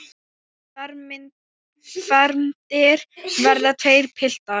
Fermdir verða tveir piltar.